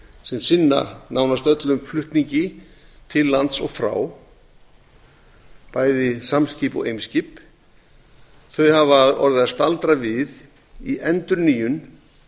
sem sinna nánast öllum flutningi til lands og frá bæði samskip og eimskip hafa orðið að staldra við í endurnýjun